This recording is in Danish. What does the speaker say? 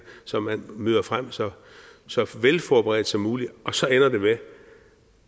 så man møder frem så så velforberedt som muligt og så ender det med